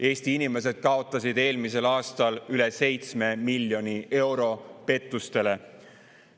Eesti inimesed kaotasid eelmisel aastal üle 7 miljoni euro pettustele.